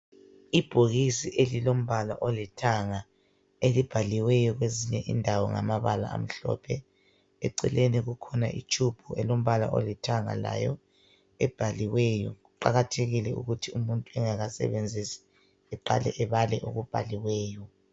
Ibhokisi elilombala olithanga elibhaliweyo kwezinye indawo ngamabala amhlophe, eceleni kukhona itshubhu elombala olithanga layo ebhaliweyo. Kuqakathekile ukuthi umuntu engakasebenzisi eqale ebale okubhaliweyo.